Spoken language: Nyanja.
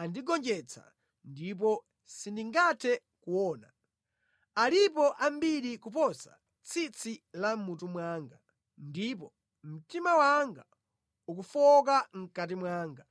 andigonjetsa, ndipo sindingathe kuona. Alipo ambiri kuposa tsitsi la mʼmutu mwanga, ndipo mtima wanga ukufowoka mʼkati mwanga.